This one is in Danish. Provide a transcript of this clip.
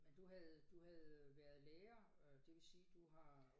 Men du havde du havde øh været lærer øh det vil sige du har